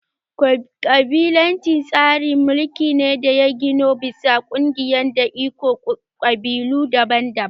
Ƙabilanci tsarin mulki ne da ya ginu bisa ƙungiyoyi da ikon ƙabilu daban-daban